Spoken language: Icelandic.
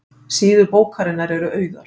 Síður bókarinnar eru auðar